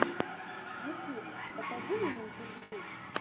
ютьюб покажи мне интервью